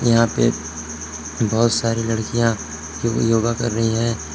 यहां पे बहुत सारी लड़कियां योगा कर रही हैं।